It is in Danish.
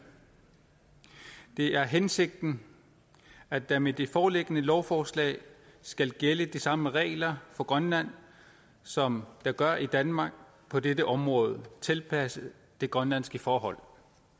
det er hensigten at der med det foreliggende lovforslag skal gælde de samme regler for grønland som der gør i danmark på dette område tilpasset de grønlandske forhold